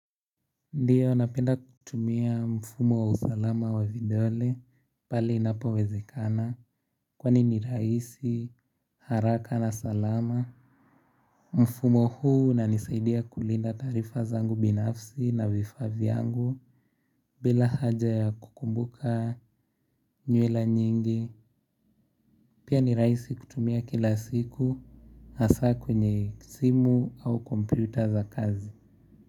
Ndiyo napenda kutumia mfumo wa usalama wa videole pale inapowezekana kwani ni rahisi haraka na salama. Mfumo huu unanisaidia kulinda taarifa zangu binafsi na vifaa vyangu bila haja ya kukumbuka nyuela nyingi. Pia ni rahisi kutumia kila siku hasa kwenye simu au kompyuta za kazi.